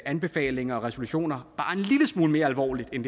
anbefalinger og resolutioner bare en lille smule mere alvorligt end